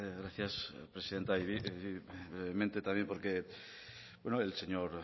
gracias presidenta y brevemente también porque el señor